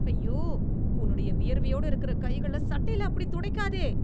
ஐயோ. உன்னுடைய வியர்வையோட இருக்குற கைகள சட்டையில அப்படித் தொடைக்காதே.